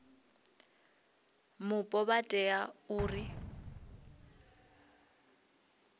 mupo vha tea u ḓi